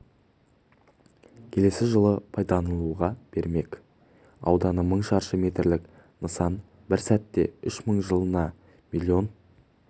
келесі жылы пайдалануға берілмек ауданы мың шаршы метрілік нысан бір сәтте үш мың жылына миллион